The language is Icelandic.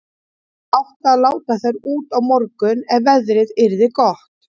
Það átti að láta þær út á morgun ef veðrið yrði gott.